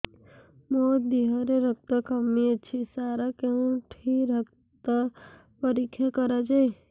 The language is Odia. ମୋ ଦିହରେ ରକ୍ତ କମି ଅଛି ସାର କେଉଁଠି ରକ୍ତ ପରୀକ୍ଷା କରାଯାଏ